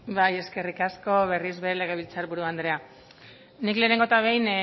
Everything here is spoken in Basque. bai eskerrik asko berriz ere legebiltzar buru andrea nik lehenengo eta behin